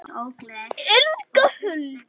Inga Huld.